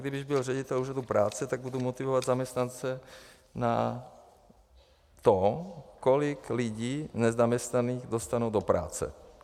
Kdybych byl ředitel Úřadu práce, tak budu motivovat zaměstnance na to, kolik lidí nezaměstnaných dostanou do práce.